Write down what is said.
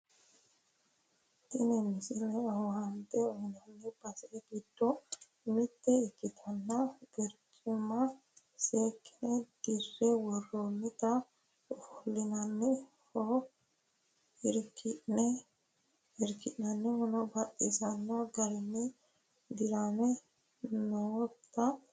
tini misile owaante uyiinanni base giddo mitte ikkitinota barcimma seekkine dirre worroonnita ofollinannihuno iriki'nannihuno baxisanno garinni dirame noota ikkase kultannote